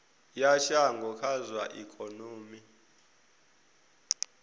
ya shango kha zwa ikonomi